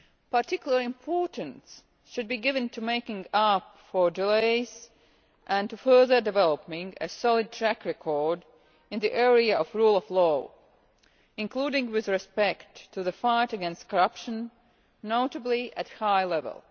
Particular importance should be given to making up for delays and to further developing a solid track record in the area of the rule of law, including with respect to the fight against corruption, notably at high level.